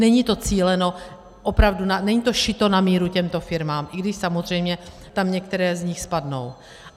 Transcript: Není to cíleno opravdu, není to šito na míru těmto firmám, i když samozřejmě tam některé z nich spadnou.